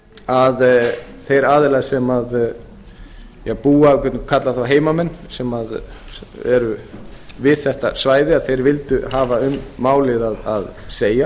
að þeir aðilar sem búa við getum kallað þá heimamenn sem eru við þetta svæði að þeir vildu hafa um málið að segja